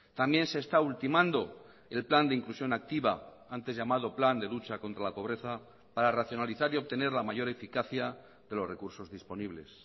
también se está ultimando el plan de inclusión activa antes llamado plan de lucha contra la pobreza para racionalizar y obtener la mayor eficacia de los recursos disponibles